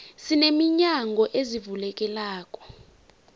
sine minyango ezivulekelako